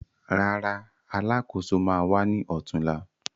Rárá, Alákóso ma wá ní ọ̀túnla